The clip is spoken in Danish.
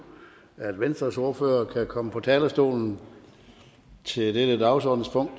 at venstres ordfører kan komme på talerstolen til dette dagsordenspunkt